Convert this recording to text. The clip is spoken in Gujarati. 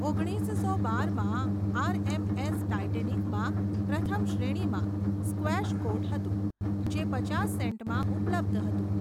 ઓગણીસસો બારમાં, આરએમએસ ટાઇટેનિકમાં પ્રથમ શ્રેણીમાં સ્ક્વેશ કોર્ટ હતું, જે પચાસ સેન્ટમાં ઉપલબ્ધ હતું.